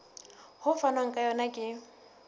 ho fanwang ka yona ke